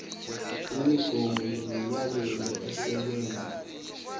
imigomo nemiyalelo esebenza